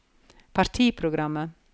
partiprogrammet